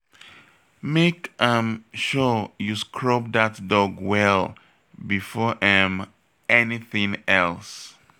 Make um sure you scrub dat dog well before um anything else